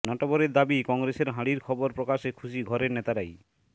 নটবরের দাবি কংগ্রেসের হাঁড়ির খবর প্রকাশে খুশি ঘরের নেতারাই